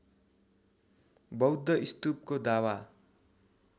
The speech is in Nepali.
बौद्ध स्तूपको दावा